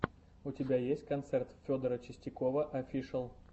у тебя есть концерт федора чистякова офишал